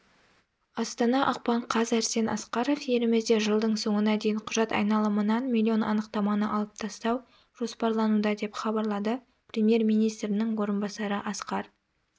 астана ақпан қаз арсен асқаров елімізде жылдың соңына дейін құжат айналымынан миллион анықтаманы алып тастау жоспарлануда деп хабарлады премьер-министрінің орынбасары асқар